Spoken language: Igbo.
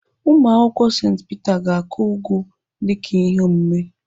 Ụmụakwụkwọ St Peter ga-akụ ụgụ dịka ihe omume.